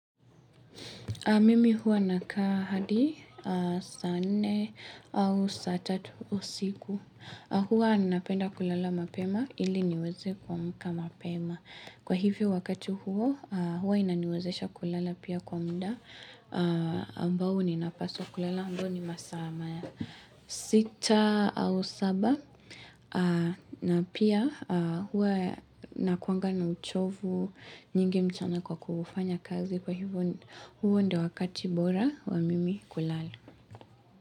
Mimi huwa nakaa hadi saa nne au saa tatu usiku. Huwa napenda kulala mapema ili niweze kuamka mapema. Kwa hivyo wakati huo huwa inaniwezesha kulala pia kwa muda ambao ninapaswa kulala ambao ni masaa ma. Sita au saba na pia huwa nakuwanga na uchovu nyingi mchana kwa kufanya kazi. Kwa hivo huo ndio wakati bora wa mimi kulala.